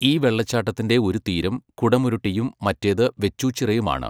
ഈ വെള്ളച്ചാട്ടത്തിന്റെ ഒരു തീരം കുടമുരുട്ടിയും മറ്റേത് വെച്ചൂച്ചിറയുമാണ്.